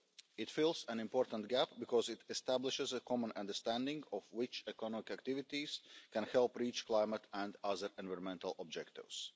It fills an important gap because it establishes a common understanding of which economic activities can help reach climate and other environmental objectives.